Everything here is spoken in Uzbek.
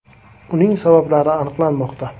Uning sabablari aniqlanmoqda.